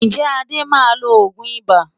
Ǹjẹ́ Adé máa lo òògùn ibà?